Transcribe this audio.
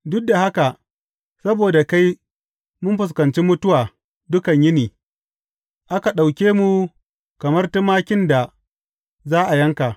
Duk da haka saboda kai mun fuskanci mutuwa dukan yini; aka ɗauke mu kamar tumakin da za a yanka.